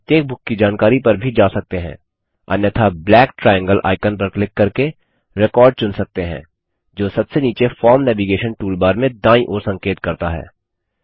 हम प्रत्येक बुक की जानकारी पर भी जा सकते हैं अन्यथा ब्लैक ट्राइएंगल आइकन पर क्लिक करके रेकॉर्ड चुन सकते है जो सबसे नीचे फॉर्म नेविगैशन टूलबार में दांयी ओर संकेत करता है